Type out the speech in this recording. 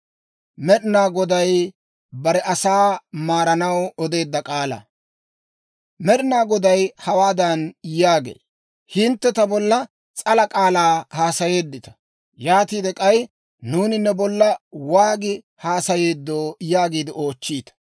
Med'ina Goday hawaadan yaagee; «Hintte ta bolla s'ala k'aalaa haasayeeddita. «Yaatiide k'ay, ‹Nuuni ne bolla waagi haasayeeddo?› yaagiide oochchiita.